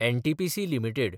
NTPC limited